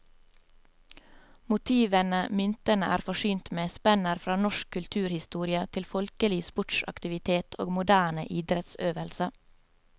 Motivene myntene er forsynt med, spenner fra norsk kulturhistorie til folkelig sportsaktivitet og moderne idrettsøvelse.